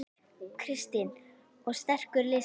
Kristinn: Og sterkur listi?